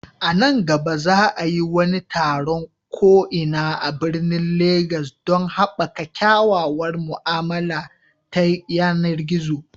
A nan gaba, za a yi wani taron ko'ina a birnin Legas don haɓaka kyakkyawar mu'amala ta yanar gizo.